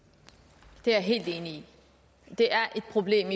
det er jeg helt enig i det er et problem